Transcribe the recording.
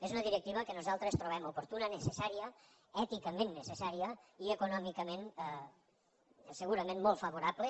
és una directiva que nosaltres trobem oportuna necessària èticament necessària i econòmicament segurament molt favorable